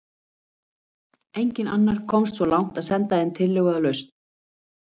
enginn annar komst svo langt að senda inn tillögu að lausn